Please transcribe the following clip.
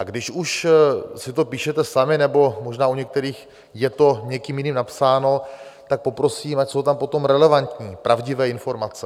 A když už si to píšete sami nebo možná u některých je to někým jiným napsáno, tak poprosím, ať jsou tam potom relevantní, pravdivé informace.